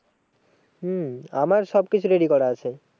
হম আমার সব কিছু ready করা আছে।